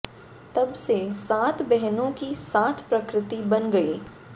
तब से सात बहनों की सात प्रकृति बन गई